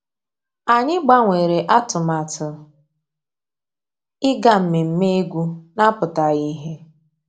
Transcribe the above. Ànyị́ gbànwèré àtụ̀màtụ́ ìgá mmèmè égwu ná-àpụ́tághị́ ìhè.